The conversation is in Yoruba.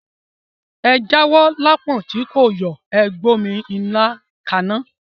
Ẹ jáwó lápọ̀n tí kò yọ̀, Ẹ gbómí ilá kaná.